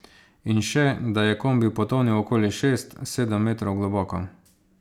In še, da je kombi potonil okoli šest, sedem metrov globoko.